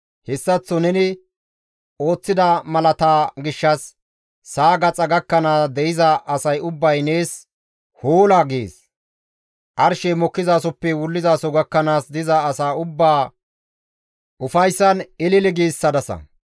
Hessaththo neni ooththida malaata gishshas, sa7a gaxa gakkanaas de7iza asay ubbay nees, «Hoola!» gees. Arshey mokkizasoppe wullizaso gakkanaas diza asa ubbaa ufayssan ilili giissadasa.